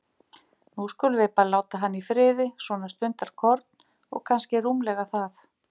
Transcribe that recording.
Nú skulum við bara láta hann í friði, svona stundarkorn, og kannski rúmlega það.